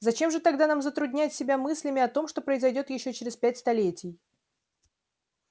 зачем же тогда нам затруднять себя мыслями о том что произойдёт ещё через пять столетий